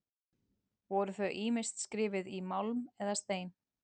Voru þau ýmist skrifuð í málm eða stein.